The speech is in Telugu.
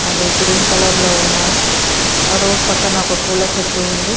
అవి గ్రీన్ కలర్లో ఉన్నాయ్ ఆ రోడ్ పక్కన ఒక పూల చెట్టు ఉంది.